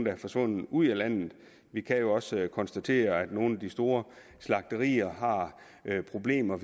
er forsvundet ud af landet vi kan jo også konstatere at nogle af de store slagterier har problemer